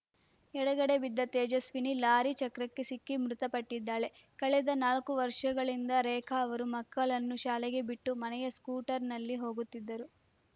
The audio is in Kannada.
ಎಡಗಡೆ ಬಿದ್ದ ತೇಜಸ್ವಿನಿ ಲಾರಿ ಚಕ್ರಕ್ಕೆ ಸಿಕ್ಕಿ ಮೃತಪಟ್ಟಿದ್ದಾಳೆ ಕಳೆದ ನಾಲ್ಕು ವರ್ಷಗಳಿಂದ ರೇಖಾ ಅವರು ಮಕ್ಕಳನ್ನು ಶಾಲೆಗೆ ಬಿಟ್ಟು ಮನೆಗೆ ಸ್ಕೂಟರ್‌ನಲ್ಲಿ ಹೋಗುತ್ತಿದ್ದರು